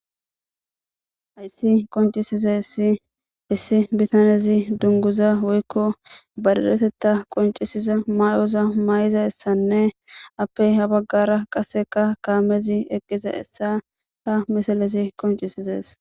ayssi qoncisiza issi issi bitanezi dunguza woykko bariretetta qoncisiza may7oza maay7iza hessanne appey habaggara qaseka kaamezi eqqiza essa ha misalezi qoncisizees